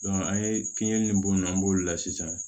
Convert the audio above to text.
an ye kinni ni bɔ yen nɔ an b'olu la sisan